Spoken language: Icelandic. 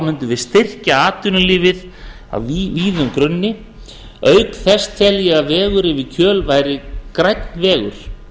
mundum við styrkja atvinnulífið á víðum grunni auk þess tel ég að vegur yfir kjöl væri grænn vegur